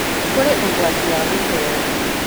Kũrĩ na ũgwati wa gũteeo